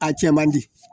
A cɛ man di